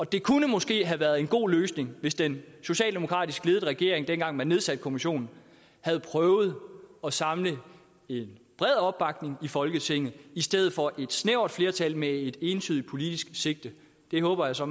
det kunne måske have været en god løsning hvis den socialdemokratisk ledede regering dengang man nedsatte kommissionen havde prøvet at samle en bred opbakning i folketinget i stedet for et snævert flertal med et entydigt politisk sigte det håber jeg så